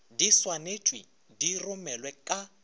di swanetšwe di romelwe ka